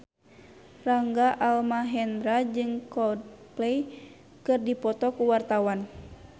Rangga Almahendra jeung Coldplay keur dipoto ku wartawan